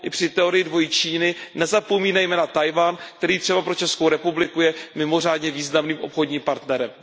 I při teorii dvojí Číny nezapomínejme na Tchaj wan, který třeba pro Českou republiku je mimořádně významným obchodním partnerem.